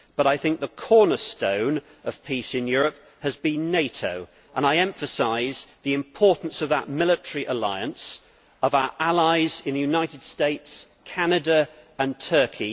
But I think the cornerstone of peace in Europe has been NATO, and I emphasise the importance of that military alliance, of our allies in the United States, Canada and Turkey.